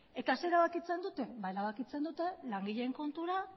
eta zer erabakitzen dute erabakitzen dute langileen kontura